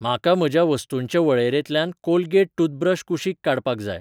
म्हाका म्हज्या वस्तूंचे वळेरेंतल्यान कोलगेट टूथब्रश कुशीक काडपाक जाय.